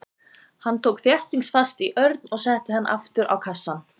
Hann tók þéttingsfast í Örn og setti hann aftur á kassann.